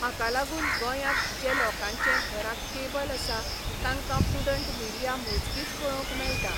हाका लागून गोंयांत जे लोकांचे घरांत कॅबल आसा, तांकां प्रुडंट मिडिया मोजकीच पळोवंक मेळटा.